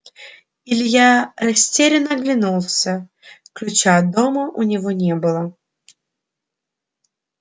илья растерянно оглянулся ключа от дома у него не было